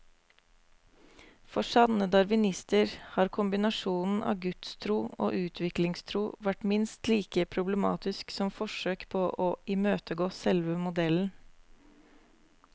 For sanne darwinister har kombinasjonen av gudstro og utviklingstro vært minst like problematisk som forsøk på å imøtegå selve modellen.